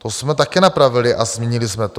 To jsme také napravili a změnili jsme to.